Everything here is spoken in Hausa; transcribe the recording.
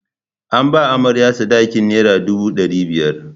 An ba amarya sadakin nera dubu ɗari biyar.